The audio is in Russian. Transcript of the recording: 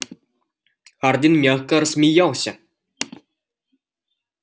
хардин мягко рассмеялся